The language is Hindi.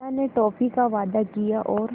चाचा ने टॉफ़ी का वादा किया और